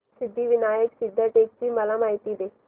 सिद्धिविनायक सिद्धटेक ची मला माहिती दे